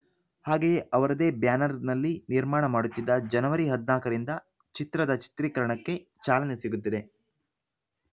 ಹಾಗೆಯೇ ಅವರದೇ ಬ್ಯಾನರ್‌ನಲ್ಲಿ ನಿರ್ಮಾಣ ಮಾಡುತ್ತಿದ್ದ ಜನವರಿ ಹದಿನಾಲ್ಕರಿಂದ ಚಿತ್ರದ ಚಿತ್ರೀಕರಣಕ್ಕೆ ಚಾಲನೆ ಸಿಗುತ್ತಿದೆ